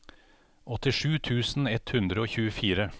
åttisju tusen ett hundre og tjuefire